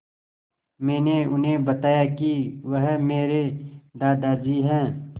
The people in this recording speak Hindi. मैंने उन्हें बताया कि वह मेरे दादाजी हैं